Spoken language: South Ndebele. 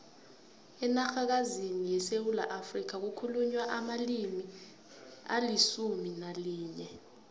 enarhakazini yesewula afrika kukhulunywa amalimi alisumu nalinye